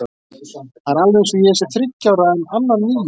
Það er alveg eins og ég sé þriggja ára en Anna níu ára.